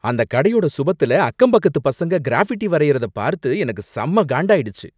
அந்தக் கடையோட சுவத்துல அக்கம்பக்கத்து பசங்க கிராஃபிட்டி வரையறத பார்த்து எனக்கு செம்ம காண்டாயிடுச்சு.